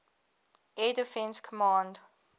air defense command